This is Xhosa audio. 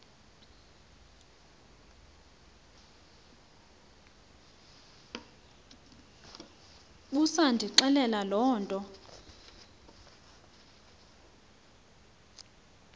busandixelela loo nto